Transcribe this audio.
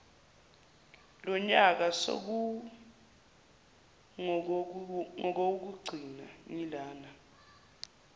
lonyaka sekungowokugcina ngilana